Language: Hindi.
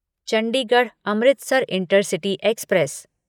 Chandigarh Amritsar intercity express